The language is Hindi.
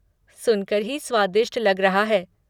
सुनकर ही स्वादिष्ट लग रहा है।